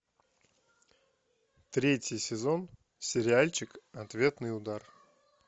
третий сезон сериальчик ответный удар